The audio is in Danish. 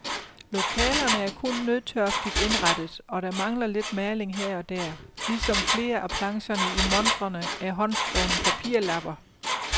Lokalerne er kun nødtørftigt indrettet, og der mangler lidt maling her ogder, ligesom flere af plancherne i montrerne er håndskrevne papirlapper.